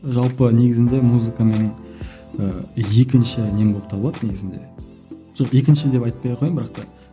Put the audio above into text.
жалпы негізінде музыка менің ііі екінші нем болып табылады негізінде жоқ екінші деп айтпай ақ қояйын бірақ та